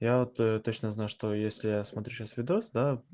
я то точно знаю что если я смотрю сейчас видос да